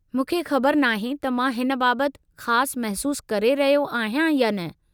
मूंखे ख़बरु नाहे त मां हिन बाबत ख़ास महिसूसु करे रहियो आहियां या न।